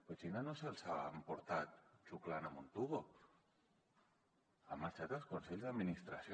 però xina no se’ls ha emportat xuclant amb un tub han marxat els consells d’administració